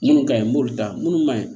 Minnu ka ɲi m'olu ta minnu man ɲi